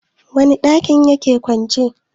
wane dakin ya ke kwance?